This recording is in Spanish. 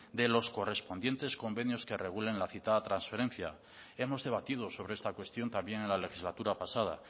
de los correspondientes convenios que regulen la cita transferencia hemos debatido sobre esta cuestión también en la legislatura pasada